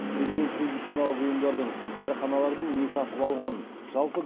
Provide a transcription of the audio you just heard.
президент медициналық ұйымдардың дәріханалардың не сатып алғанын жалпы